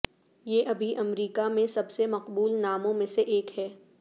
یہ ابھی امریکہ میں سب سے مقبول ناموں میں سے ایک ہے